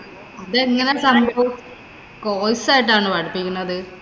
ഇതെങ്ങനാ സംഭവം? course ആയിട്ടാണോ പഠിപ്പിക്കുന്നത്?